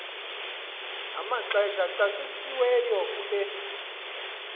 namaxesha acacisiweyo kule